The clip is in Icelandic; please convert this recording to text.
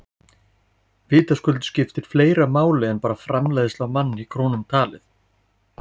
Vitaskuld skiptir fleira máli en bara framleiðsla á mann í krónum talið.